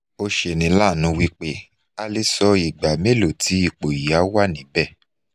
o senilanu wipe a le so igba melo ti ipo yi a wanibe